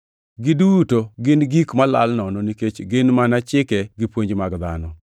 Giduto gin gik malal nono, nikech gin mana chike gi puonj mag dhano.